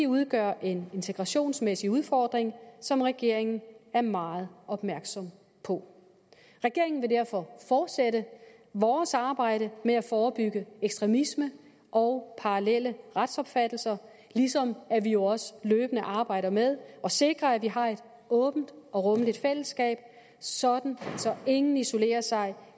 udgør en integrationsmæssig udfordring som regeringen er meget opmærksom på i regeringen vil vi derfor fortsætte vores arbejde med at forebygge ekstremisme og parallelle retsopfattelser ligesom vi jo også løbende arbejder med at sikre at vi har et åbent og rummeligt fællesskab sådan at ingen isolerer sig